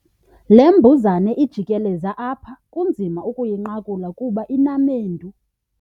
Le mbuzane ijikeleza apha kunzima ukuyinqakula kuba inamendu.